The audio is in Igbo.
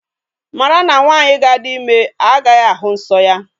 Mara na nwaanyị ga-adi ime agaghi ahụ nsọ ya.